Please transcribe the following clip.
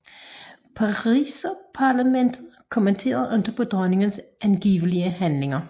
Pariserparlamantet kommenterede ikke på dronningens angivelige handlinger